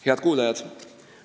Head kuulajad!